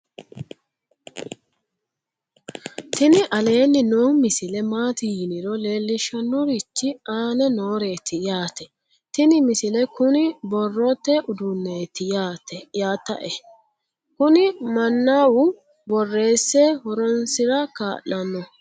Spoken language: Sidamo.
tini aleenni noo misile maati yiniro leellishshannorichi aane nooreeti yaate tini misile kuni borrote uduunneeti yatae kuni mannau borreesse horoonsira kaa'lanno